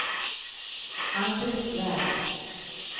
Ann-Britt Svärd